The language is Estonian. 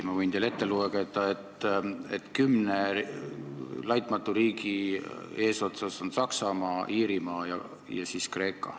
Ma võin teile ette lugeda, et kümne laitmatu riigi eesotsas on Saksamaa, Iirimaa ja siis Kreeka.